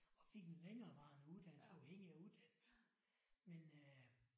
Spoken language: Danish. Og fik en længerevarende uddannelse afhængig af uddannelsen men øh